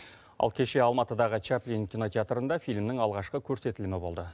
ал кеше алматыдағы чаплин кинотеатрында фильмнің алғашқы көрсетілімі болды